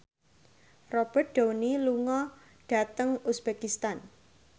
Robert Downey lunga dhateng uzbekistan